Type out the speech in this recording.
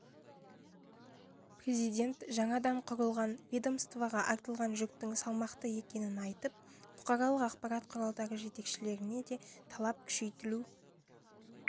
президент жаңадан құрылған ведомствоға артылған жүктің салмақты екенін айтып бұқаралық ақпарат құралдары жетекшілеріне де талап күшейтілу